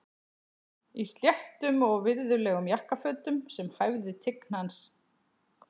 Í sléttum og virðulegum jakkafötum sem hæfðu tign hans.